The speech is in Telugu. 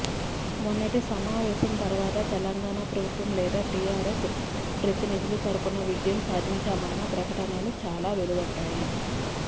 మొన్నటి సమావేశం తర్వాత తెలంగాణ ప్రభుత్వం లేదా టిఆర్ఎస్ ప్రతినిధుల తరపున విజయం సాధించామన్న ప్రకటనలు చాలా వెలువడ్డాయి